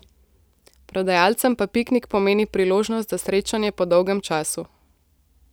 Prodajalcem pa piknik pomeni priložnost za srečanje po dolgem času.